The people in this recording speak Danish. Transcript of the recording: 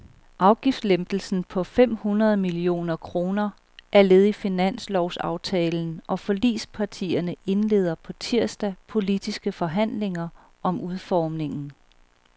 Afgiftslempelsen på fem hundrede millioner kroner er led i finanslovsaftalen, og forligspartierne indleder på tirsdag politiske forhandlinger om udformningen.